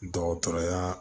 Dɔgɔtɔrɔya